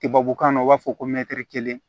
Tubabukan na u b'a fɔ ko mɛtiri kelen